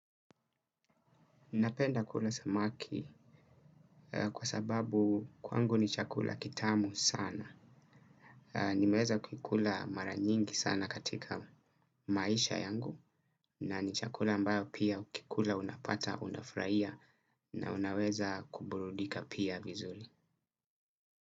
Napenda kula samaki kwa sababu kwangu ni chakula kitamu sana. Nimeweza kuikula maranyingi sana katika maisha yangu na ni chakula ambayo pia ukikula unapata unafraia na unaweza kuburudika pia vizuli.